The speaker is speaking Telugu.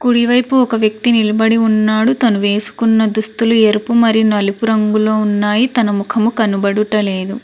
కుడివైపు ఒక వ్యక్తి నిలబడి ఉన్నాడు తను వేసుకున్న దుస్తులు ఎరుపు మరి నలుపు రంగులో ఉన్నాయి తన ముఖము కనబడుటలేదు.